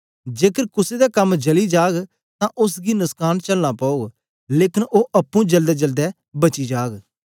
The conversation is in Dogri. जेकर कुसे दा कम जली जाग तां ओसगी नुस्कान चलना पौग लेकन ओ अप्पुं जलदेजलदे बची जाग